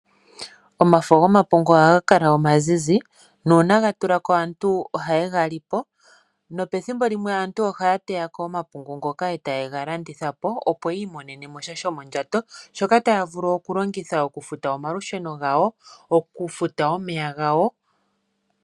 Omafo gomapungu ohaga kala omazizi nuuna ga tula ko, aantu ohaye ga li po nopethimbo limwe aantu ohaya teya ko omapungu ngoka e ta ye ga landitha po, opo yi imonene mo sha shomondjato shoka taya vulu oku longitha oku futa omalusheno gawo noku futa omeya gawo.